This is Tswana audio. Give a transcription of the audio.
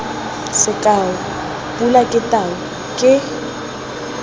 sekao pule ke tau ke